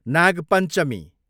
Nag Panchami